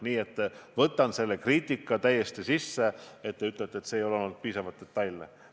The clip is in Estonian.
Nii et ma võtan seda kriitikat arvesse, mis puudutab teie öeldut, et andmed ei olnud piisavalt detailsed.